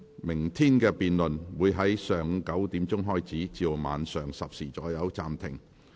明天的辯論會在上午9時開始，晚上10時左右暫停。